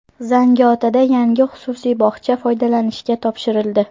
Zangiotada yangi xususiy bog‘cha foydalanishga topshirildi.